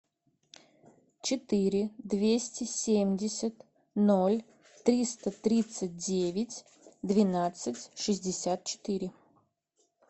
четыре двести семьдесят ноль триста тридцать девять двенадцать шестьдесят четыре